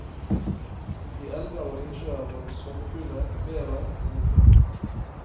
I elver og innsjøer var det svømmefugler, bever og oter.